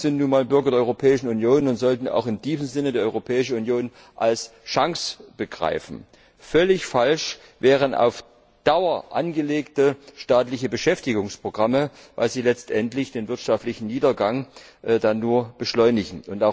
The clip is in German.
Wir sind nun einmal Bürger der Europäischen Union und sollten auch in diesem Sinne die Europäische Union als Chance begreifen. Völlig falsch wären auf Dauer angelegte staatliche Beschäftigungsprogramme, weil sie letztendlich den wirtschaftlichen Niedergang dann nur beschleunigen.